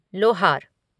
लोहार